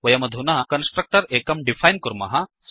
वयमधुना कन्स्ट्रक्टर् एकं डिफैन् कुर्मः